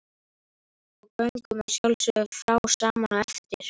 Og göngum að sjálfsögðu frá saman á eftir.